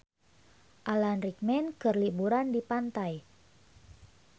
Alan Rickman keur liburan di pantai